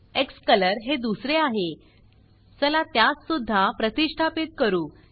क्सकलर हे दुसरे आहे चला त्यास सुद्धा प्रतिष्ठापीत करू